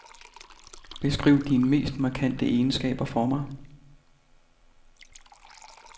Beskriv dine mest markante egenskaber for mig.